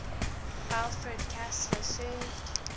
alfred kastler served